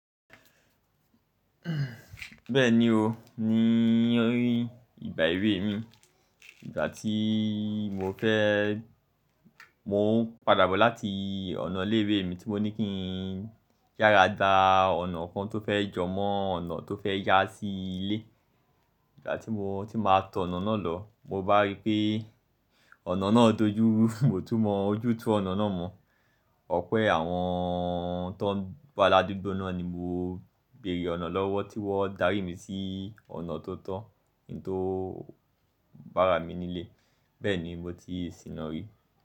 Bẹ́ẹ̀ni o, ní orí ìgbà èwe mi, ìgbà tí mo fẹ́, mò ń padà bọ̀ láti ọ̀nà ilé ìwé mi tí mo ní kí n yára gba ọ̀nà kan tó fẹ́ jọmọ́ ọ̀nà tó fẹ́ yá sí ilé. Ìgbà tí mo ti máa tọ̀ ọ̀nà náà lọ, mo bá rí pé ọ̀nà náà dojúru, mo tún mọ ojútùú ọ̀nà náà mọ̀. Ọ̀pẹ́ àwọn tó ń wa ladugbo ni mo béèrè ọ̀nà lọ́wọ́ tí wọ́n darí mi sí ọ̀nà tó tọ́, hun tó bá ra mi nílé. Bẹ́ẹ̀ni, mo ti sìnà ri.